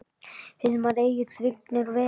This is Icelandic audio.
Hilmar Egill, Vignir og Eva.